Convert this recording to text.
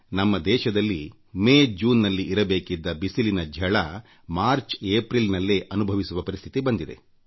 ನಮ್ಮ ದೇಶದಲ್ಲಿ ಮೇ ಜೂನ್ನಲ್ಲಿ ಇರಬೇಕಿದ್ದ ಬಿಸಿಲಿನ ತಾಪ ಮಾರ್ಚ್ಏಪ್ರಿಲ್ ನಲ್ಲೇ ಅನುಭವಿಸುವ ಪರಿಸ್ಥಿತಿ ಬಂದಿದೆ